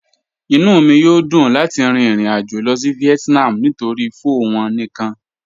Inú mi yó dùn láti rìn ìrìn-àjọ̀ lọ sí Vietnam nítorí̀ pho wọn níkan.